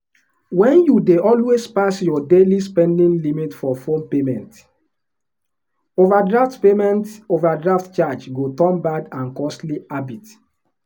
when you dey always pass your daily spending limit for phone payment overdraft payment overdraft charge go turn bad and costly habit.